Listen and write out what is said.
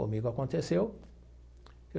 Comigo aconteceu.